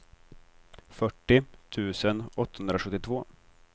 fyrtio tusen åttahundrasjuttiotvå